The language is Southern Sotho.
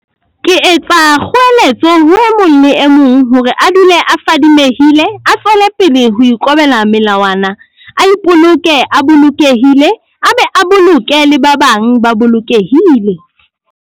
Ke etsa kgoeletso ho e mong le e mong hore a dule a fadimehile, a tswelepele ho ikobela melawana, a ipoloke a bolokehile a be a boloke le ba bang ba bolokehile.